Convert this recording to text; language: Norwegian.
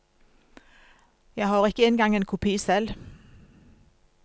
Jeg har ikke engang en kopi selv.